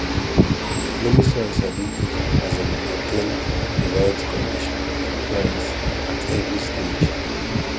loamy soil sabi um maintain di right condition for plants at every stage